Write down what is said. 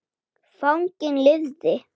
Fanginn lifði.